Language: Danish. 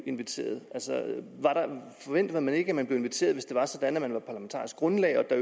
inviteret forventede man ikke at man blev inviteret hvis det var sådan at man var parlamentarisk grundlag og der